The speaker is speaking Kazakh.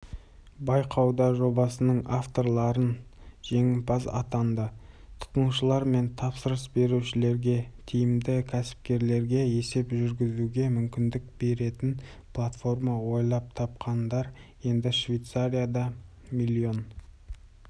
байқауда жобасының авторларын жеңімпаз атанды тұтынушылар мен тапсырыс берушілерге тиімді кәсіпкерлерге есеп жүргізуге мүмкіндік беретін платформа ойлап тапқандар енді швейцарияда млн